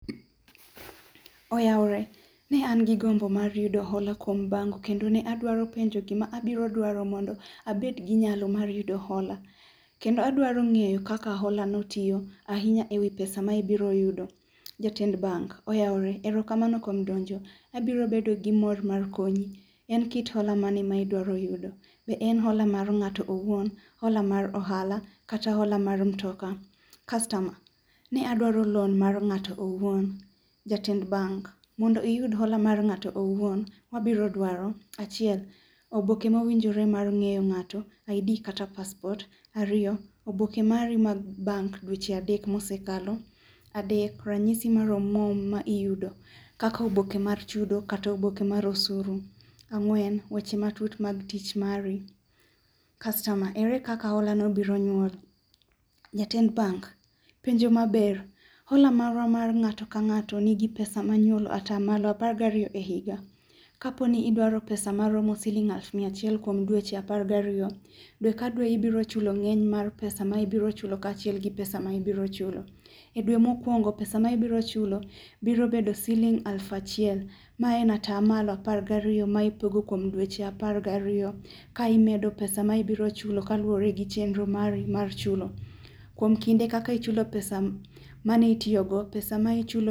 Oyaore, ne an gi gombo mar yudo hola kuom bank kendo adwaro penjo gima abiro dwaro mondo abed gi nyalo mar yudo hola, kendo adwaro ng'eyo kaka hola no tiyo ahinya ewi pesa ma ibiro yudo. Jatend bank, oyaore ,erokamano kuom donjo. Abiro bedo gi mor kuom konyi. En kit hola mane ma idwaro yudo.Be en hola mar ng'ato owuon, hola mar ohala kata hola mar mtoka. Kastama, ne adwaro l oan mar ng'ato owuon. Jatend bank. Mondo iyud hola mar ng'ato owuon, wabiro dwaro, achiel, oboke mowinjore mar ng'eyo ng'ato, ID kata paspot, ariyo, oboke mari mag bank, dweche adek mosekalo, adek ranyisi mar omuom ma iyudo kaka oboke mar chudo kata oboke mar osuru. Ang'wen, weche matut mag tich mari. Kastoma, ere kaka hola no biro nyuol. Jatend bank. Penjo maber, hola marwa mar ng'ato ka ng'ato nigi pesa ma nyuolo atamalo apar gariyo e higa, kaponi idwaro pesa maromo siling mia achiel kuom dweche apar gariyo, dwe ka dwe ibiro chulo ng'eny mar pesa[sc] ma ibiro chulo kachiel kod pesa ma ibiro chulo.E dwe mokuongo pesa ma ibiro chulo biro bedo siling aluf achiel, ma en atamalo apar gariyo ma ipogo kuom dweche apar gariyo ka imedo pesa ma ibiro chulo kaluore gi chenro mari mar chulo. Kuom kinde kaka ichulo pesa ma itiyo go, pesa ma ichulo